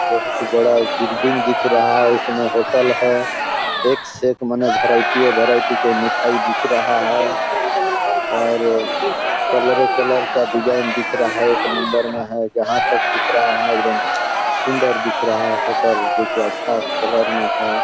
बहुत बड़ा बिल्डिंग दिख रहा है उसमें होटल है एक से एक मने वैरायटी ये वैरायटी के मिठाई दिख रहा है और कलरे-कलर का डिज़ाइन दिख र हा है एक नंबर में है जहाँ तक दिख रहा है वहाँ एकदम सुन्दर दिख रहा है होटल देखिये अच्छा कलर में हैं ।